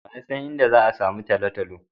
Wa ya san inda za'a samu Talatalo.